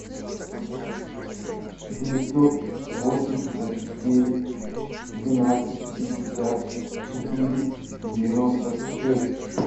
девятьсот восемьдесят девять двенадцать пятьдесят четыре девяносто шесть